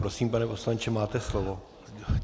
Prosím, pane poslanče, máte slovo.